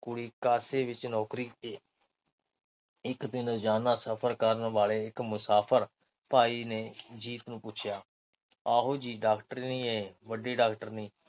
ਕੁੜੀ ਕਾਸੇ ਵਿੱਚ ਨੌਕਰੀ ਕਰਦੀ ਇਕ ਦਿਨ ਰੋਜ਼ਾਨਾ ਸਫ਼ਰ ਕਰਨ ਵਾਲੇ ਇੱਕ ਮੁਸਾਫ਼ਰ ਭਾਈ ਨੇ ਜੀਤ ਨੂੰ ਪੁੱਛਿਆ ਆਓ ਜੀ ਡਾਕਟਰਨੀਏ ਵੱਡੀ ਡਾਕਟਰਨੀ